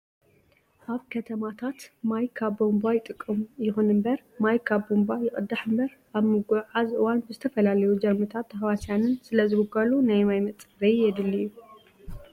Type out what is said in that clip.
ኣብ ከተማታት ማይ ካብ ቧንቧ ይጥቀሙ። ይኹን እምበር ማይ ካብ ቧንቧ ይቀዳሕ እምበር ኣብ ምጉዕዓዝ እዋን ብዝተፈላለዩ ጀርምታትን ተህዋስያንን ስለዝብከሉ ናይ ማይ መፃረይ የድሊ እዩ።